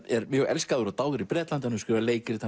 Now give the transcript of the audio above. er mjög elskaður og dáður í Bretlandi hefur skrifað leikrit